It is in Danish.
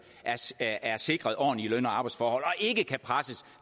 er sikret ordentlige løn og arbejdsforhold og ikke kan presses